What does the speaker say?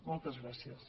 moltes gràcies